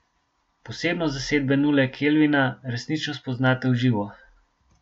Posebnost zasedbe Nule Kelvina resnično spoznate v živo.